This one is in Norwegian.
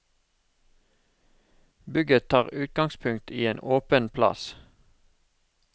Bygget tar utgangspunkt i en åpen plass.